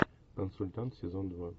консультант сезон два